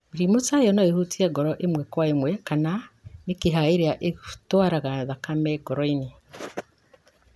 Mĩrimũ ta ĩyo no ĩhutie ngoro ĩmwe kwa ĩmwe kana mĩkiha ĩrĩa ĩtũaraga thakame ngoro-inĩ.